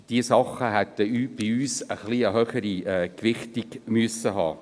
Diese Dinge hätten für uns eine etwas höhere Gewichtung erhalten sollen.